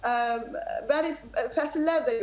Yəni fəsillər də yoxdur.